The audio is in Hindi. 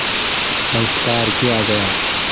संस्कार किया गया